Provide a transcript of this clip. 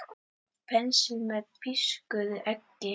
Penslið með pískuðu eggi.